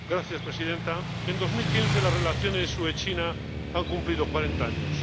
Señora Presidenta, en 2015 las relaciones UE China han cumplido cuarenta años.